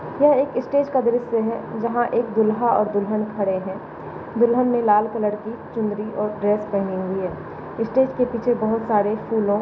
ये एक स्टेज का दृश है जहा एक दूल्हा और दुल्हन खड़े है दुल्हन ने लाल कलर की चुनरी और ड्रेस पेहनी हैं। इस स्टेज के पीछे बहुत सारे फूल--